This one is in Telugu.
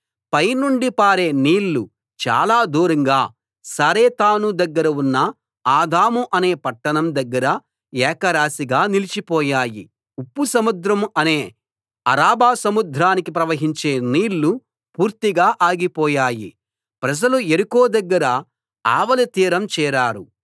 పై నుండి పారే నీళ్లు చాలా దూరంగా సారెతాను దగ్గర ఉన్న ఆదాము అనే పట్టణం దగ్గర ఏకరాశిగా నిలిచిపోయాయి ఉప్పు సముద్రం అనే అరాబా సముద్రానికి ప్రవహించే నీళ్ళు పూర్తిగా ఆగిపోయాయి ప్రజలు యెరికో దగ్గర ఆవలి తీరం చేరారు